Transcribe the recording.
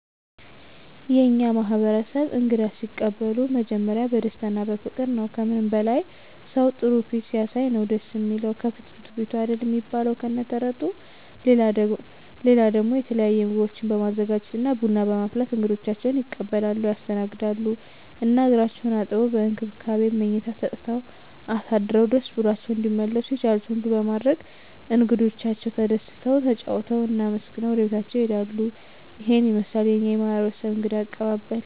የእኛ ማህበረሰብ እንግዳ ሲቀበሉ መጀመሪያ በደስታ እና በፍቅር ነዉ። ከምንም በላይ ሰዉ ጥሩ ፊት ሲያሳይ ነዉ ደስ እሚለዉ፤ ከፍትፍቱ ፊቱ አይደል እሚባል ከነ ተረቱ። ሌላ ደሞ የተለየ ምግቦችን በማዘጋጀት እና ቡና በማፍላት እንግዶቻቸዉን ይቀበላሉ (ያስተናግዳሉ) ። እና እግራቸዉን አጥበዉ፣ በእንክብካቤ መኝታ ሰጠዉ አሳድረዉ ደስ ብሏቸዉ እንዲመለሱ የቻሉትን ሁሉ በማድረግ እንግዶቻቸዉ ተደስተዉ፣ ተጫዉተዉ እና አመስግነዉ ወደቤታቸዉ ይሄዳሉ። ይሄን ይመስላል የኛ ማህበረሰብ እንግዳ አቀባበል።